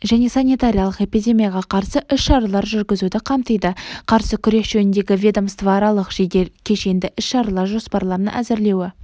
және санитариялық-эпидемияға қарсы іс-шаралар жүргізуді қамтиды қарсы күрес жөніндегі ведомствоаралық жедел кешенді іс-шаралар жоспарларын әзірлеуі